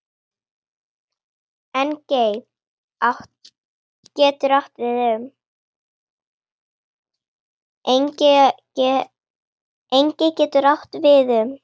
Engey getur átt við um